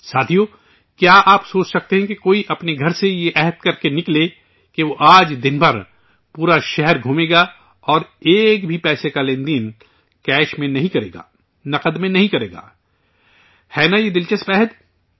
ساتھیو، کیا آپ سوچ سکتے ہیں کہ کوئی اپنے گھر سے یہ عہد لے کر نکلے کہ وہ آج دن بھر، پورا شہر گھومے گا اور ایک بھی پیسے کا لین دین کیش میں نہیں کرے گا، نقد میں نہیں کرے گا ہے نا یہ دلچسپ عہد